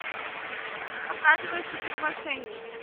показывай супермошенники